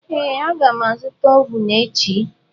Ee, a ga m azụta ovun echi.